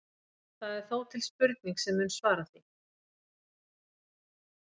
það er þó til spurning sem mun svara því